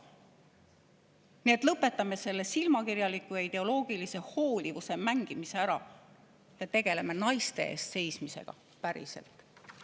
Nii et lõpetame selle silmakirjaliku ja ideoloogilise hoolivuse mängimise ära ja tegeleme naiste eest seismisega päriselt!